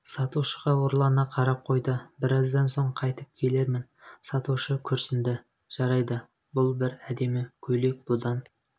сатушыға ұрлана қарап қойды біраздан соң қайтып келермін сатушы күрсінді жарайды бұл бір әдемі көйлек бұдан